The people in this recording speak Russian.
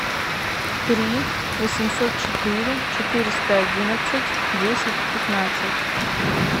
три восемьсот четыре четыреста одиннадцать десять пятнадцать